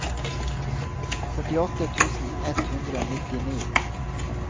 førtiåtte tusen ett hundre og nittini